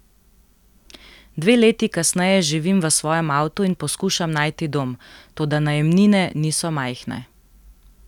Dve leti kasneje živim v svojem avtu in poskušam najti dom, toda najemnine niso majhne.